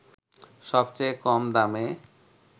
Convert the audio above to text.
সবচেয়ে কম দামে